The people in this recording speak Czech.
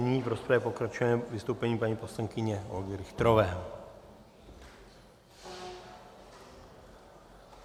Nyní v rozpravě pokračujeme vystoupením paní poslankyně Olgy Richterové.